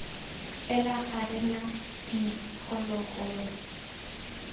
fela ga re na diphologolo